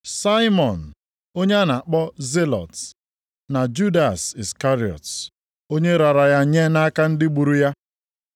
Saimọn onye a na-akpọ Zilọt + 10:4 Onye so nʼotu ndị Juu chọrọ iji ike kwatuo ọchịchị ndị Rom. na Judas Iskarịọt, onye raara ya nye nʼaka ndị gburu ya.